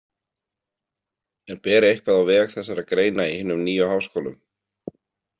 En ber eitthvað á veg þessara greina í hinum nýju háskólum?